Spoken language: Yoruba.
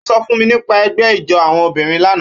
Ó sọ fún mi nípa ẹgbẹ́ ijó àwọn obìnrin lánàá